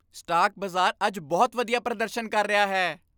Stock ਬਾਜ਼ਾਰ ਅੱਜ ਬਹੁਤ ਵਧੀਆ ਪ੍ਰਦਰਸ਼ਨ ਕਰ ਰਿਹਾ ਹੈ।